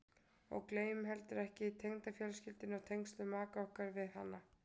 Og gleymum heldur ekki tengdafjölskyldunni og tengslum maka okkar við hana.